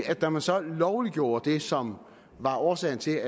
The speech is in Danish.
at da man så lovliggjorde det som var årsagen til